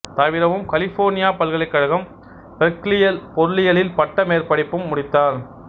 தவிரவும் கலிபோர்னியா பல்கலைக்கழகம் பெர்க்லியில் பொருளியலில் பட்ட மேற்படிப்பும் முடித்தார்